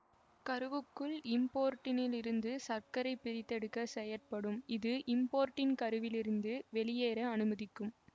கருவுக்குள் இம்போர்டினில் இருந்து சர்க்கைப் பிரித்தெடுக்க செயற்படும் இது இம்போர்டின் கருவிலிருந்து வெளியேற அனுமதிக்கும்